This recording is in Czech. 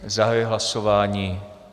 Zahajuji hlasování.